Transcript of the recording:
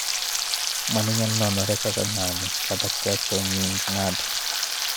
Mano inyalo nenore kaka ng�anjo kata ketho nying� ng�ato.